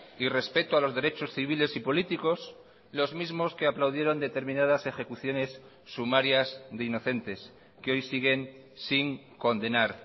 y respeto a los derechos civiles y políticos los mismos que aplaudieron determinadas ejecuciones sumarias de inocentes que hoy siguen sin condenar